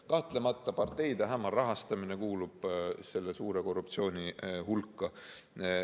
Kahtlemata kuulub parteide hämar rahastamine selle suure korruptsiooni hulka.